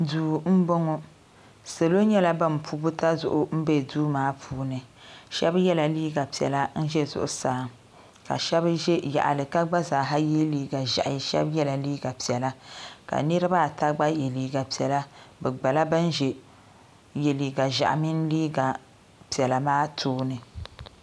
Duu m boŋɔ salo nyɛla ban pu butazuɣu n be duu maa puuni sheba yela liiga piɛla n ʒɛ zuɣusaa ka sheba ʒɛ yaɣali ka gba zaa ye liiga ʒehi sheba yela liiga piɛla ka niriba ata gba ye liiga piɛla lala ban ye liiga ʒehi mini liiga maa tooni.